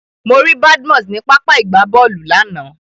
Mo rí Badmus ní pápá ìgbábọ́ọ̀lù lánàá.